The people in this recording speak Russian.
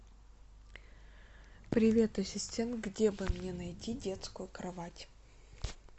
привет ассистент где бы мне найти детскую кровать